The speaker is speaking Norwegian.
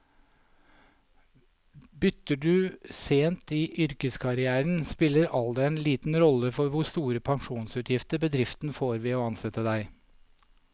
Bytter du sent i yrkeskarrieren, spiller alder liten rolle for hvor store pensjonsutgifter bedriften får ved å ansette deg.